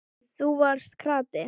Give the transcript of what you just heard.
Og þú varst krati.